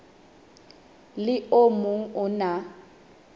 le o mong o na